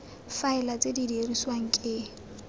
faela tse di dirisiwang ke